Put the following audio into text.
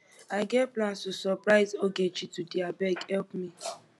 i get plans to surprise ogechi today abeg help me